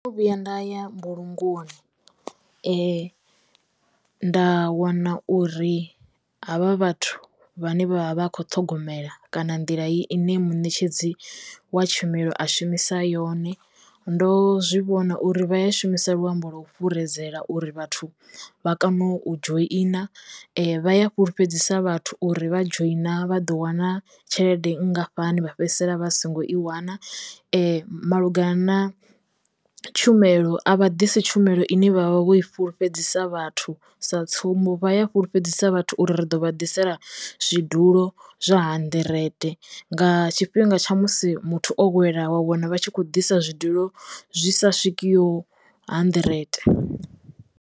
Ndo no vhuya nda ya mbulungoni nda wana uri havha vhathu vhane vha vha vha kho ṱhogomela kana nḓila ine muṋetshedzi wa tshumelo a shumisa yone. Ndo zwivhona uri vha ya shumisa luambo lo fhuredzela uri vhathu vha kono u dzhoina vha ya fhulufhedzisa vhathu uri vha dzhoina vha ḓo wana tshelede nngafhani vha fhedzisela vha songo i wana . Malugana na tshumelo a vha ḓisi tshumelo ine vha vha vho fhulufhedzisa vhathu sa tsumbo vha ya fhulufhedzisa vhathu uri ri ḓo vha ḓisela zwidulo zwa hanḓirete nga tshifhinga tsha musi muthu o wela wa wana vha tshi khou ḓisa zwidulo zwi sa swikiho hanḓirete.